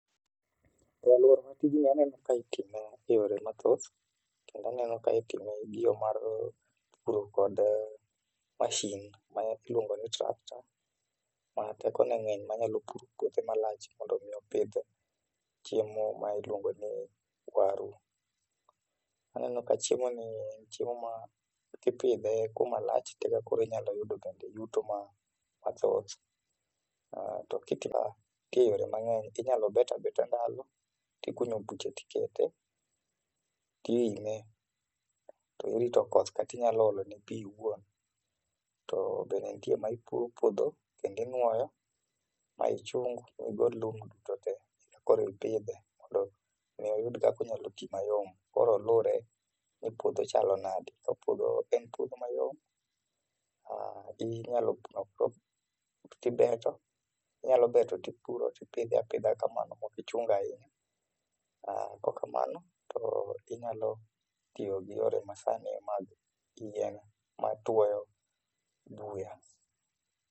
E alwora wa tijni aneno ka itime e yore mathoth, kendo aneno ka itime gi yo mar puro kod mashin ma iluongo ni tractor, ma teko ne ng'eny manyalo puro puothe malach mondo mi opidh chiemo ma iluongo ni waru. Aneno ka chiemo ni en chiemo ma kipidhe kuma lach to eka koro inyalo yudo bende yuto ma mathoth. To nitie yore mang'eny, inyalo bet abeta laro, tikunyo buche tikete, tiime, to irito koth, kata inyalo olo ne pi iwuon. To bende nitie ma ipuro puodho, kendo inuoyo, ma ichung migol lum duto te, e ka koro ipidhe mondo mi oyud kaka onyalo tii mayom. Koro luwre ni puodho chalo nade. Ka puodho en puodho mayom, inyalo, tibeto, inyalo beto tipuro tipidhe apidha kamano mok ichungo ahinya. Kok kamano, to inyalo tiyo gi yore ma sani mag kiyien ma tuoyo buya.